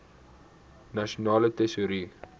nasionale tesourie